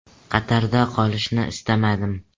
Qatarda qolishni istamadim.